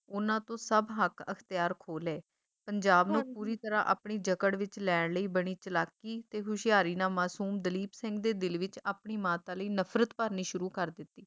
ਉਹਨਾਂ ਤੋਂ ਸਭ ਹੱਕ ਅਖਤਿਆਰ ਖੋਹ ਲਏ, ਪੰਜਾਬ ਨੂੰ ਪੂਰੀ ਤਰਾਂ ਆਪਣੀ ਜਕੜ ਵਿੱਚ ਲੈਣ ਲਈ ਬੜੀ ਚਲਾਕੀ ਤੇ ਹੁਸ਼ਿਆਰੀ ਨਾਲ ਮਸੂਮ ਦਲੀਪ ਸਿੰਘ ਦੇ ਦਿਲ ਵਿੱਚ ਆਪਣੀ ਮਾਤਾ ਲਈ ਨਫਰਤ ਭਰਨੀ ਸ਼ੁਰੂ ਕਰ ਦਿਤੀ